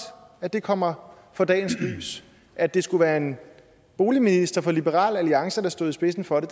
at det kommer for dagens lys at det skulle være en boligminister fra liberal alliance der stod i spidsen for det